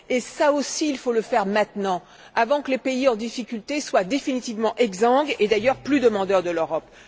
Cela aussi, il faut le faire maintenant, avant que les pays en difficulté ne soient définitivement exsangues et, d'ailleurs, qu'ils ne soient plus demandeurs de l'Europe.